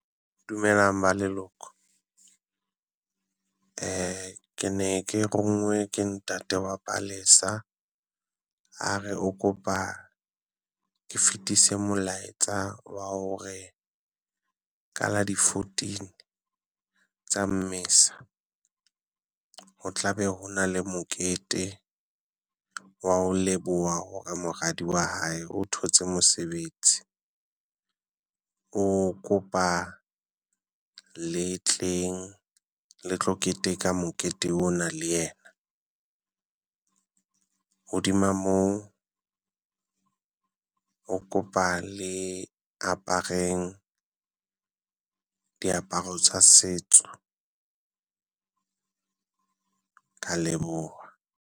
Dumelang ba leloko. Ke ne ke ronngoe ke ntate wa palesa a re o kopa ke fetise molaetsa wa hore ka la di fourteen tsa Mmesa. Ho tla be ho na le mokete wa ho leboha hore moradi wa hae o thotse mosebetsi, o kopa le tleng le tlo keteka mokete ona le yena. Hodima moo o kopa le apareng diaparo tsa setso, ka leboha.